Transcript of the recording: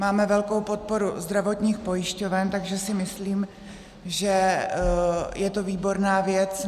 Máme velkou podporu zdravotních pojišťoven, takže si myslím, že je to výborná věc.